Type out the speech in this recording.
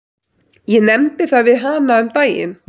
Ég nefndi það við hana um daginn.